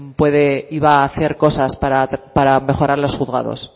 puede y va a hacer cosas para mejorar los juzgados